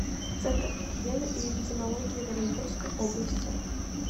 центр гигиены и эпидемиологии в оренбургской области